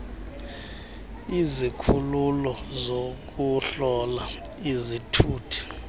izikhululo zokuhlola izithuthi